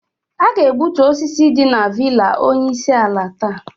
A ga-egbutu osisi dị na villa onye isi ala taa.